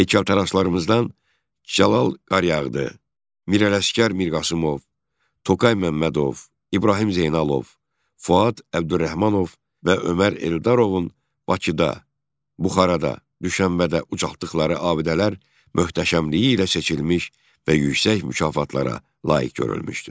Heykəltaraşlarımızdan Cəlal Qaryağdı, Mirələşgər Mirqasımov, Toğrul Məmmədov, İbrahim Zeynalov, Fuad Əbdürrəhmanov və Ömər Eldarovun Bakıda, Buxarada, Düşənbədə ucaltdıqları abidələr möhtəşəmliyi ilə seçilmiş və yüksək mükafatlara layiq görülmüşdü.